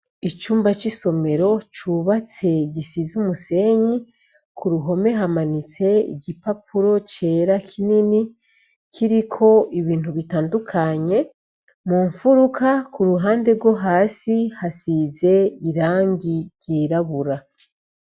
Icumba c'isomero cubatse gisize umusenyi ku ruhome hamanitse igipapuro cera kinini kiriko ibintu bitandukanye mu mfuruka ku ruhande rwo hasi hasize irangi ryirabura.